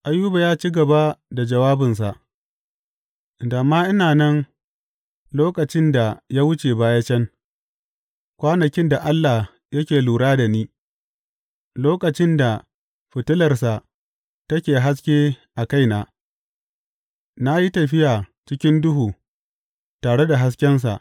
Ayuba ya ci gaba da jawabinsa, Da ma ina nan lokacin da ya wuce baya can, kwanakin da Allah yake lura da ni, lokacin da fitilarsa take haske a kaina na yi tafiya cikin duhu tare da haskensa.